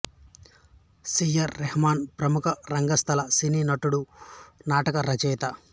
C R Mohan ప్రముఖ రంగస్థల సినీ నటుడు నాటక రచయిత